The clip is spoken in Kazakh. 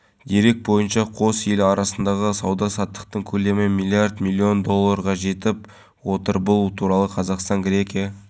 мұндағы көлдің шипасын сезініп саф ауамен тыныстап халықтың кең пейіліне достық құшағына бөлендік жағалаудағы көркейту